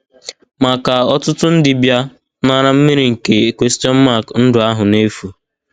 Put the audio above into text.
Ma ka ọtụtụ ndị bịa nara mmiri nke ndụ ahụ n’efu.